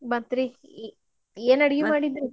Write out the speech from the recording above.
ಮತ್ರಿ ಏನ್ ಅಡ್ಗಿ ಮಾಡಿದ್ರಿ?